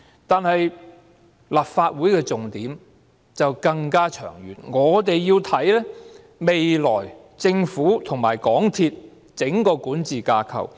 但是，立法會的重點則更長遠，我們要看的是未來政府和港鐵公司的整個管治架構。